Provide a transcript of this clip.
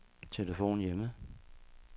telefon hjemme